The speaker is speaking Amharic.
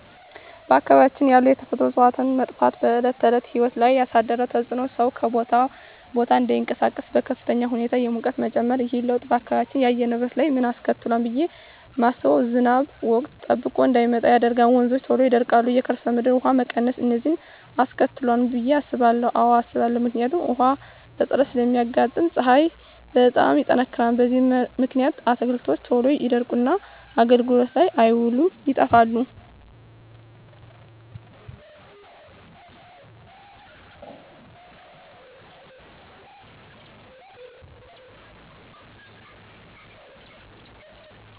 በአካባቢያችን ያሉ የተፈጥሮ እፅዋት መጥፋት በዕለት ተዕለት ሕይወት ላይ ያሣደረው ተፅኖ ሠው ከቦታ ቦታ እዳይንቀሣቀስ፤ በከፍተኛ ሁኔታ የሙቀት መጨመር። ይህ ለውጥ በአካባቢው የአየር ንብረት ላይ ምን አስከትሏል ብየ ማስበው። ዝናብ ወቅቱን ጠብቆ እዳይመጣ ያደርጋል፤ ወንዞች ቶሎ ይደርቃሉ፤ የከርሠ ምድር ውሀ መቀነስ፤ እነዚን አስከትሏል ብየ አስባለሁ። አዎ አስባለሁ። ምክንያቱም ውሀ እጥረት ስለሚያጋጥም፤ ፀሀይ በጣም ይጠነክራል። በዚህ ምክንያት አትክልቶች ቶሎ ይደርቁና አገልግሎት ላይ አይውሉም ይጠፋሉ።